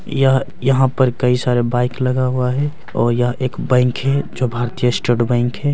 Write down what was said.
यह-यहां पर कई सारे बाइक लगा हुआ है और यह एक बैंक है जो भारतीय स्टेट बैंक है।